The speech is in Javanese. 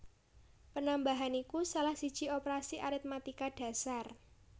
Panambahan iku salah siji operasi aritmatika dhasar